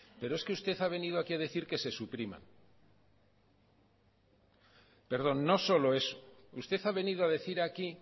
pero es que usted ha venido aquí a decir que se suprima perdón no solo eso usted ha venido a decir aquí